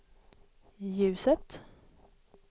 ljuset